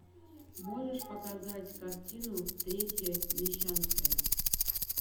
можешь показать картину третья мещанская